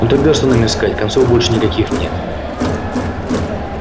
но тогда что нам искать концов больше никаких нет